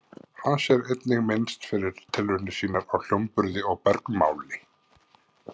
Hans er einnig minnst fyrir tilraunir sínar á hljómburði og bergmáli.